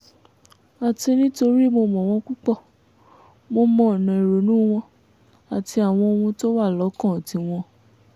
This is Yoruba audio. àti nítorí mo mọ̀ wọ́n púpọ̀ mo mọ ọ̀nà ìrònú wọn àti àwọn ohun tó wà lọ́kàn tiwọn